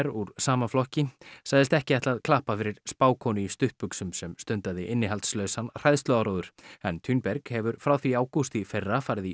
úr sama flokki sagðist ekki ætla að klappa fyrir spákonu í stuttbuxum sem stundaði innihaldslausan hræðsluáróður en Thunberg hefur frá því í ágúst í fyrra farið í